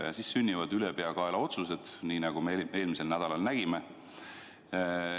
Ja nii sünnivad ülepeakaela otsused, nii nagu me eelmisel nädalal nägime.